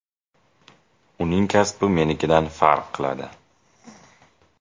Uning kasbi menikidan farq qiladi.